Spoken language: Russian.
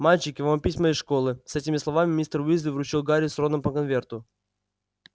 мальчики вам письма из школы с этими словами мистер уизли вручил гарри с роном по конверту